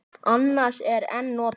Annars er en notað.